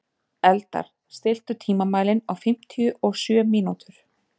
Eldar, stilltu tímamælinn á fimmtíu og sjö mínútur.